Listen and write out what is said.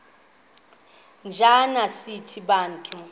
njana sithi bantu